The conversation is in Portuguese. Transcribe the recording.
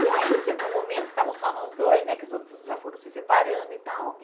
E aí chegou um momento que estavam só nós dois né, que os outros já foram se separando e tal.